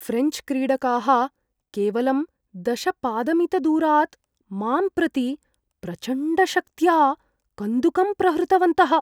ऴ्रेञ्च् क्रीडकाः केवलं दश पादमितदूरात् मां प्रति प्रचण्डशक्त्या कन्दुकं प्रहृतवन्तः।